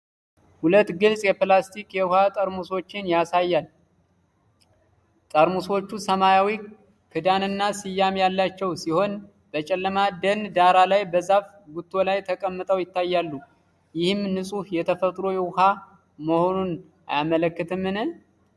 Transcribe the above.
ሁለት ግልጽ የፕላስቲክ የውሃ ጠርሙሶችን ያሳያል። ጠርሙሶቹ ሰማያዊ ክዳንና ስያሜ ያላቸው ሲሆን፣ በጨለማ ደን ዳራ ላይ በዛፍ ጉቶ ላይ ተቀምጠው ይታያሉ፤ ይህም ንጹህ የተፈጥሮ ውኃ መሆኑን አያመለክትም?